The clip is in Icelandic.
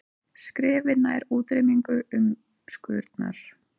Skrefi nær útrýmingu umskurnar